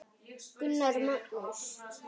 Gunnar Magnús.